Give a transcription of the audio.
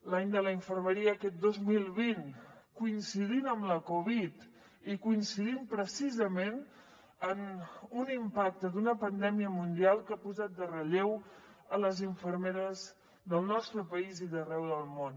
l’any de la infermeria aquest dos mil vint coincidint amb la covid i coincidint precisament amb un impacte d’una pandèmia mundial que ha posat en relleu les infermeres del nostre país i d’arreu del món